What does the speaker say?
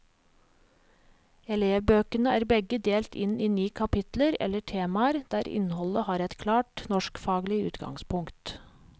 Elevbøkene er begge delt inn i ni kapitler eller temaer der innholdet har et klart norskfaglig utgangspunkt.